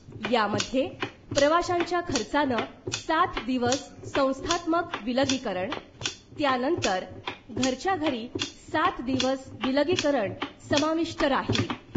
यामध्ये प्रवाशांच्या खर्चानं सात दिवस संस्थात्मक विलगीकरण , त्यानंतर घरच्याघरी सात दिवस विलगीकरण समाविष्ट राहील .